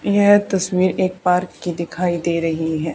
यह तस्वीर एक पार्क की दिखाई दे रही है।